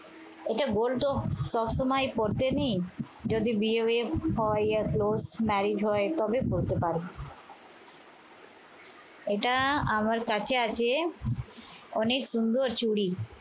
এটা gold তো সবসময় পরতে নেই। যদি বিয়ে বিয়ে হয়, court marriage হয় তবে পড়তে পারি। এইটা আমার কাছে আছে অনেক সুন্দর চুড়ি।